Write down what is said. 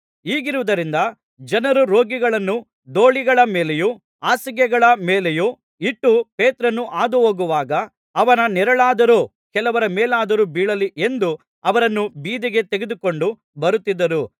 ಹೀಗಿರುವುದರಿಂದ ಜನರು ರೋಗಿಗಳನ್ನು ದೋಲಿಗಳ ಮೇಲೆಯೂ ಹಾಸಿಗೆಗಳ ಮೇಲೆಯೂ ಇಟ್ಟು ಪೇತ್ರನು ಹಾದು ಹೋಗುವಾಗ ಅವನ ನೆರಳಾದರೂ ಕೆಲವರ ಮೇಲಾದರೂ ಬೀಳಲಿ ಎಂದು ಅವರನ್ನು ಬೀದಿಗೆ ತೆಗೆದುಕೊಂಡು ಬರುತ್ತಿದ್ದರು